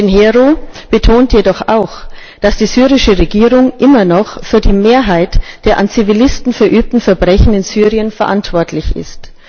Pinheiro betont jedoch auch, dass die syrische Regierung immer noch für die Mehrheit der an Zivilisten verübten Verbrechen in Syrien verantwortlich ist.